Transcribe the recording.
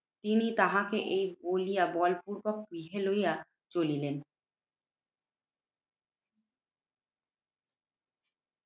তিনি তাহাকে এই বলিয়া বলপূর্বক গৃহে লইয়া চলিলেন।